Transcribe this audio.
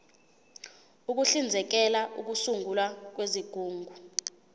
uhlinzekela ukusungulwa kwezigungu